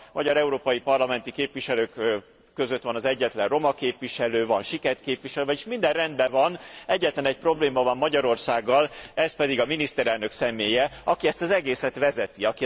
A magyar európai parlamenti képviselők között van az egyetlen roma képviselő, van siket képviselő, vagyis minden rendben van, egyetlen egy probléma van Magyarországgal, ez pedig a miniszterelnök személye, aki ezt az egészet vezeti.